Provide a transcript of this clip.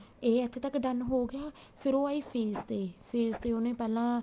ਇਹ ਇੱਥੇ ਤੱਕ done ਹੋ ਗਿਆ ਫ਼ੇਰ ਉਹ ਆਈ face ਤੇ face ਤੇ ਉਹਨੇ ਪਹਿਲਾਂ